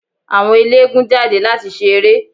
Àwọn ẹlẹ́gùn-ún jáde láti ṣe eré.